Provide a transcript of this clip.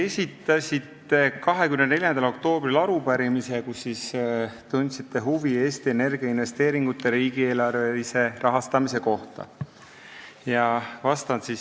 Esitasite 24. oktoobril arupärimise, kus tundsite huvi Eesti Energia investeeringute riigieelarvelise rahastamise vastu.